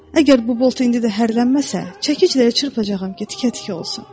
Əgər bu bolt indi də hərrlənməsə, çəkic də yerə çırpacağam ki, tikə-tikə olsun.